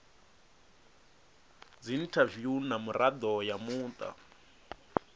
dziinthaviwu na mirado ya muta